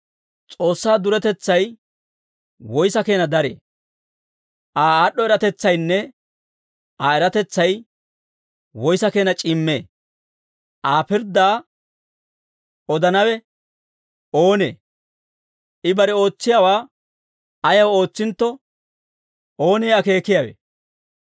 S'oossaa duretetsay woyssa keena daree? Aa aad'd'o eratetsaynne Aa eratetsay woyssa keena c'iimmee? Aa pirddaa odanawe oonee? I bare ootsiyaawaa ayaw ootsintto, oonee akeekiyaawe?